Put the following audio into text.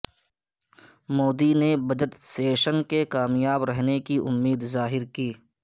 مودی نے budget session کے کامیاب رہنے کی امید ظاہر کی